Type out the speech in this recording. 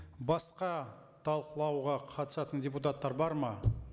басқа талқылауға қатысатын депутаттар бар ма